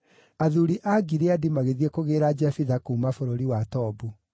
athuuri a Gileadi magĩthiĩ kũgĩĩra Jefitha kuuma bũrũri wa Tobu.